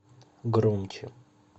громче